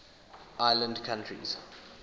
island countries